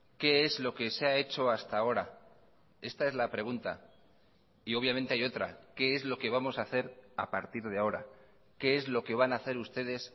qué es lo que se ha hecho hasta ahora esta es la pregunta y obviamente hay otra qué es lo que vamos a hacer a partir de ahora qué es lo que van a hacer ustedes